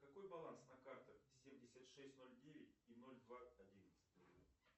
какой баланс на картах семьдесят шесть ноль девять и ноль два одиннадцать